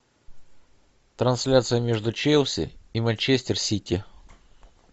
трансляция между челси и манчестер сити